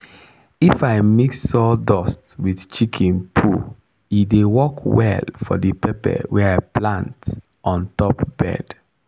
if i mix sawdust with chicken poo e dey work well for the pepper wey i plant on top bed.